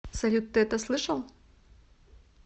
салют ты это слышал